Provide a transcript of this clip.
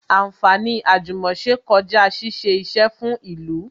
Anfaani àjùmòse kọjá ṣíṣe isẹ fún ìlú